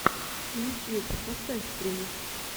ютуб поставь стримы